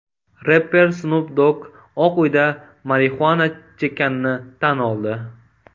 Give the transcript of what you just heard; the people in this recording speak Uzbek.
Repper Snup Dogg Oq uyda marixuana chekkanini tan oldi.